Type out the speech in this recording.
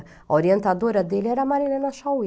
A orientadora dele era a Marilena Chaui.